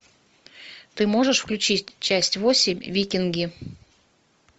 ты можешь включить часть восемь викинги